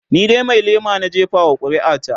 ni dai Mai lema na jefa wa ƙuri'a ta